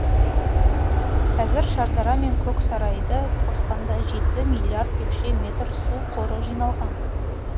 қазір шардара мен көксарайды қосқанда жеті миллиард текше метр су қоры жиналған